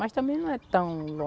Mas também não é tão